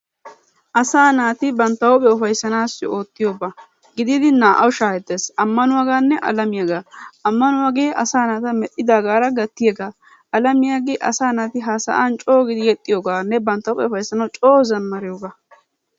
Asaa naati bantta huuphiyaa ufayssanawu ootiyoba gidid naa'awu shahettes, amanuwaggane alamiyagga amanuwagge asa naata medhdhidagara gattiyaga alamiyage asa naati ha sa'an giidi yexiyoganne bantta huphiyaa ufaysanawu coo zamariyoga.